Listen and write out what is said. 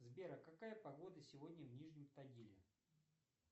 сбер а какая погода сегодня в нижнем тагиле